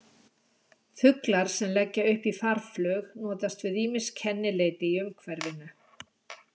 Fuglar sem leggja upp í farflug notast við ýmis kennileiti í umhverfinu.